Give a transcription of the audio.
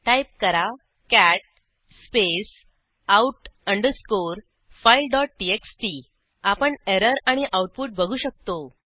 type करा cat space out underscore fileटीएक्सटी आपण एरर आणि आऊटपुट बघू शकतो